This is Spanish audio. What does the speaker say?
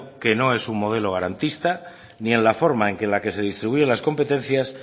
que no es un modelo garantista ni en la forma en la que se distribuyen las competencias